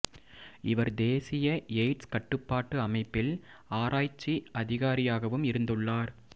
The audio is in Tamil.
இவர் தேசிய எய்ட்ஸ் கட்டுப்பாட்டு அமைப்பில் ஆராய்ச்சி அதிகாரியாகவும் இருந்துள்ளார்